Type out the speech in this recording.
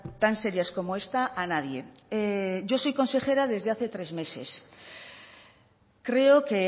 tan serias como esta a nadie yo soy consejera desde hace tres meses creo que